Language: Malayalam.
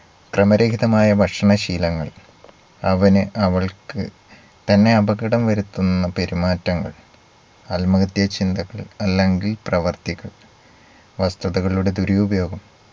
ക്രമരഹിതമായ ഭക്ഷണ ശീലങ്ങൾ അവന് അവൾക്ക് തന്നെ അപകടം വരുത്തുന്ന പെരുമാറ്റങ്ങൾ ആത്മഹത്യ ചിന്തകൾ അല്ലെങ്കിൽ പ്രവർത്തികൾ വസ്തുതകളുടെ ദുരുപയോഗം